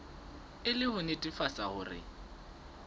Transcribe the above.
e le ho nnetefatsa hore